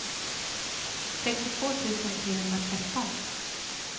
sextiotvå tusen trehundratretton